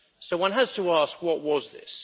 One has to ask what was this?